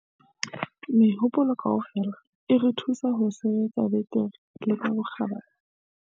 Mehopolo kaofela e re thusa ho sebetsa betere le ka bokgabane.